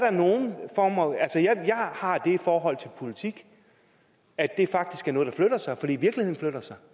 har det forhold til politik at det faktisk er noget der flytter sig fordi virkeligheden flytter sig